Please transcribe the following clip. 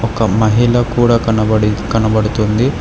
ఒక మహిళ కూడా కనబడి కనబడుతూ ఉంది.